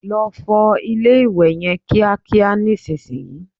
Lọ fọ ilé-ìwẹ̀ yẹn kíákíá nísìnyí!